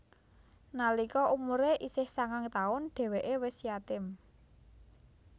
Nalika umure isih sangang taun dheweke wis yatim